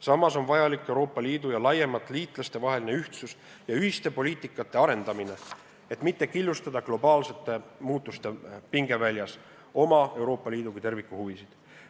Samas on vajalik Euroopa Liidu ja laiemalt liitlaste vaheline ühtsus ja ühiste poliitikasuundade arendamine, et mitte killustada globaalsete muudatuste pingeväljas Euroopa Liidu kui terviku huvisid.